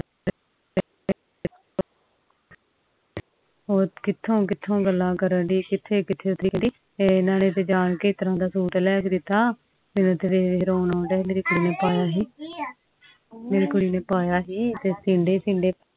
ਹੋਰ ਕਿਥੀ ਕਿਥੋਂ ਗੱਲਾਂ ਕਰਨ ਦੇ ਸੀ ਕਹਿੰਦੀ ਮੇਰੇ ਕੁੜੀ ਨੂੰ ਤਾ ਜਾਣਕੇ ਏਦਾਂ ਦਾ ਸੁਤ ਲੈ ਕ ਦਿਤਾ ਮੇਰਾ ਤਾ ਵੇਖ ਰੋਣਾ ਆਉਣ ਦਾ ਆ ਮੇਰੀ ਕੁੜੀ ਨੇ ਪਾਯਾ ਕਿ ਆ